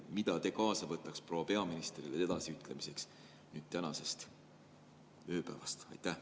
Mida te kaasa võtaks proua peaministrile edasi ütlemiseks tänasest ööpäevast?